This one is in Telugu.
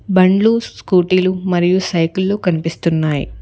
బండ్లు స్కూటీలు మరియు సైకిల్ లు కనిపిస్తున్నాయి.